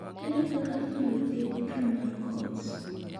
Ere kaka inyalo thiedh tuwo mar Coats?